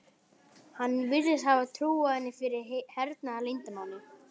Hann virðist hafa trúað henni fyrir hernaðarleyndarmáli.